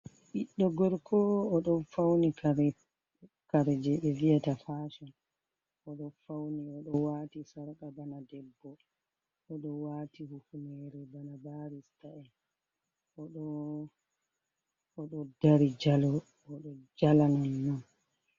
Ɓidɗo gorko oɗo fauni kare je ɓe vi'eta fashion, oɗo wati sarka bana debbo, oɗo wati hufnere bana barista en, oɗo dari jalo, oɗo jala non non.